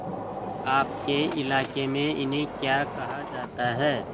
आपके इलाके में इन्हें क्या कहा जाता है